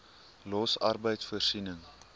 los arbeid voorsiening